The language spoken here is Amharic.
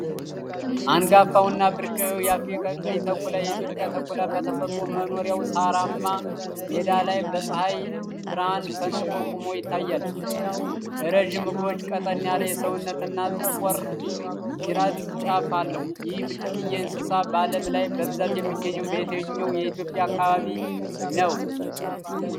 አንጋፋው እና ብርቅዬው የአፍሪካ ቀይ ተኩላ (የኢትዮጵያ ተኩላ) በተፈጥሮ መኖሪያው ሳርማማ ሜዳ ላይ በፀሃይ ብርሃን ፈንጥቆ ቆሞ ይታያል። ረዥም እግሮች፣ ቀጠን ያለ ሰውነት እና የጠቆረ ጅራት ጫፍ አለው። ይህ ብርቅዬ እንስሳ በአለምላይ በብዛት የሚገኘው በየትኛው የኢትዮጵያ አካባቢ ነው?